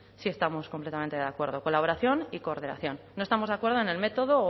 sí estamos completamente de acuerdo colaboración y coordinación no estamos de acuerdo en el método o